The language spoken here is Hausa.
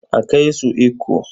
A kai su Ikko.